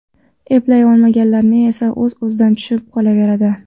Eplay olmaganlari esa o‘z-o‘zidan tushib qolaveradi.